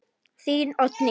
Þín, Oddný.